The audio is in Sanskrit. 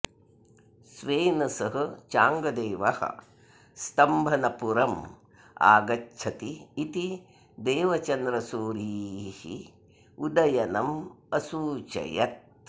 स्वेन सह चाङ्गदेवः स्तम्भनपुरम् आगच्छति इति देवचन्द्रसूरिः उदयनम् असूचयत्